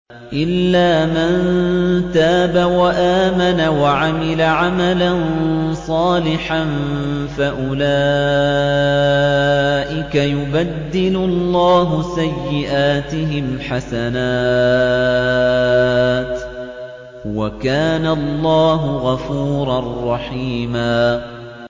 إِلَّا مَن تَابَ وَآمَنَ وَعَمِلَ عَمَلًا صَالِحًا فَأُولَٰئِكَ يُبَدِّلُ اللَّهُ سَيِّئَاتِهِمْ حَسَنَاتٍ ۗ وَكَانَ اللَّهُ غَفُورًا رَّحِيمًا